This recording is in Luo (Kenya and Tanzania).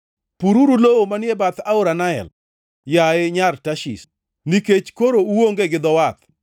Pururu lowo manie bath aora Nael, yaye Nyar Tarshish, nikech koro uonge gi dho wath.